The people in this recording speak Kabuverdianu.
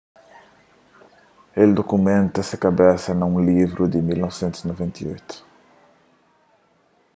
el dukumenta se kabesa na un livru di 1998